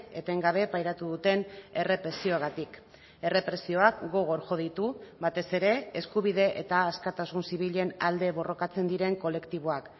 etengabe pairatu duten errepresioagatik errepresioak gogor jo ditu batez ere eskubide eta askatasun zibilen alde borrokatzen diren kolektiboak